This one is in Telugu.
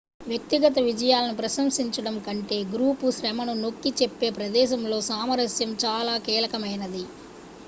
వ్యక్తిగత విజయాలను ప్రశంసించడం కంటే గ్రూపు శ్రమను నొక్కి చెప్పే ప్రదేశంలో సామరస్యం చాలా కీలకమైనది